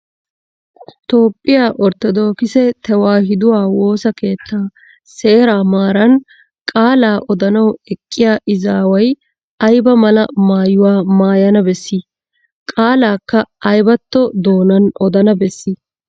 Toophphiya Orttodookise tewaahiduwa woossa keettaa seeraa maaran qaalaa odanawu eqqiya izaaway ayba mala maayuwa maayana bessii? Qaalaakka aybatto doonan odana bessii?